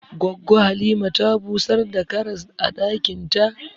Goggo Halima ta busar da karas a ɗakin ta.